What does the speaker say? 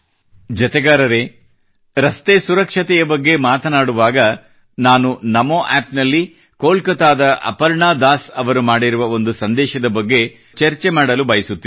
ಜತೆಗಾರರೇ ರಸ್ತೆ ಸುರಕ್ಷತೆಯ ಬಗ್ಗೆ ಮಾತನಾಡುವಾಗ ನಮೋ ಆ್ಯಪ್ ನಲ್ಲಿ ಕೋಲ್ಕತ್ತಾದ ಅಪರ್ಣಾ ದಾಸ್ ಅವರು ಮಾಡಿರುವ ಒಂದು ಸಂದೇಶದ ಬಗ್ಗೆ ನಾನು ಚರ್ಚೆ ಮಾಡಲು ಬಯಸುತ್ತೇನೆ